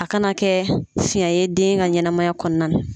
A kana kɛ fiɲɛ ye den ka ɲɛnɛmaya kɔnɔna na